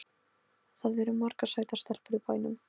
Það eru margar sætar stelpur í bænum.